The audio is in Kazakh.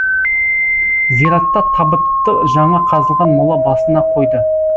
зиратта табытты жаңа қазылған мола басына қойды